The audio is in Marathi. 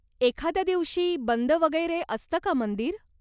एखाद्या दिवशी बंद वगैरे असतं का मंदिर?